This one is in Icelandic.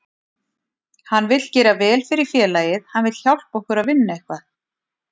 Hann vill gera vel fyrir félagið, hann vill hjálpa okkur að vinna eitthvað.